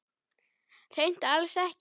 Hreint alls ekki.